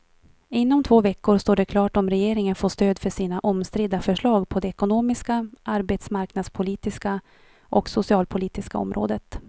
Inom två veckor står det klart om regeringen får stöd för sina omstridda förslag på det ekonomiska, arbetsmarknadspolitiska och socialpolitiska området.